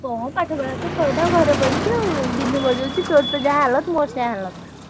କଣ ପାଠ ପଢା ତ ସଇଲା ଆଉ ଘରେ ବଇଚି ଆଉ ଗିନି ବଜଉଚି, ତୋର ତ ଯାହା Hindi ମୋର ସେୟା Hindi ।